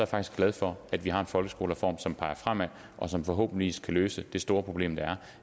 faktisk glad for at vi har en folkeskolereform som peger fremad og som forhåbentlig kan løse det store problem det er